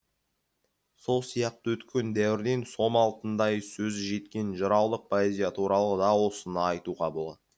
сол сияқты өткен дәуірден сом алтындай сөзі жеткен жыраулық поэзия туралы да осыны айтуға болады